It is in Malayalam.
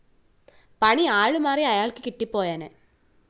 പണി ആളുമാറി അയാള്‍ക്ക് കിട്ടിപ്പോയേനെ